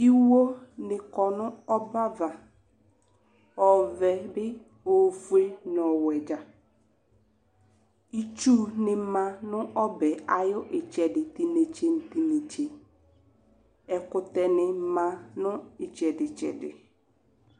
Iwonɩ kɔ n'ɔbɛava: ọvɛ ,ofue n'ɔwɛ dza Itsu ma n'ɔbɛɛ ayʋ ɩtsɛdɩ t'inetse nʋ t'i'netse Ɛkʋtɛnɩ ma nʋ ɩtsɛdɩ ɩtsɛdɩ